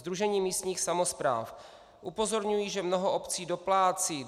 Sdružení místních samospráv: Upozorňují, že mnoho obcí doplácí.